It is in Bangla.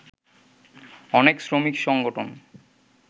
অনেক শ্রমিক সংগঠন